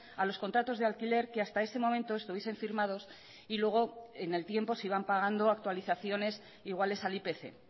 a los contratos de alquiler que hasta ese momento estuviesen firmados y luego en el tiempo si van pagando actualizaciones iguales al ipc